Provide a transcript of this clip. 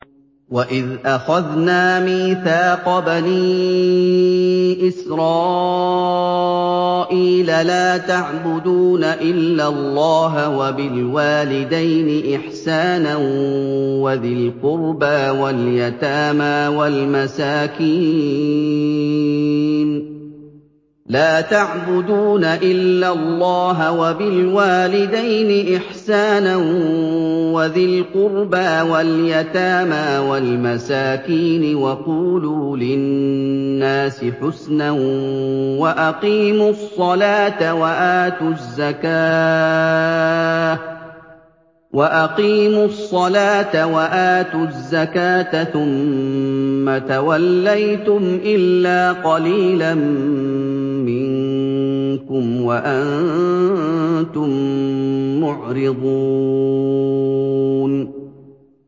وَإِذْ أَخَذْنَا مِيثَاقَ بَنِي إِسْرَائِيلَ لَا تَعْبُدُونَ إِلَّا اللَّهَ وَبِالْوَالِدَيْنِ إِحْسَانًا وَذِي الْقُرْبَىٰ وَالْيَتَامَىٰ وَالْمَسَاكِينِ وَقُولُوا لِلنَّاسِ حُسْنًا وَأَقِيمُوا الصَّلَاةَ وَآتُوا الزَّكَاةَ ثُمَّ تَوَلَّيْتُمْ إِلَّا قَلِيلًا مِّنكُمْ وَأَنتُم مُّعْرِضُونَ